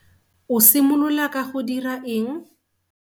O simolola ka go dira eng?